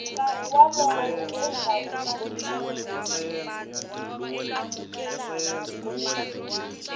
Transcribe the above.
nkarhi wolowo endzhaku ka siku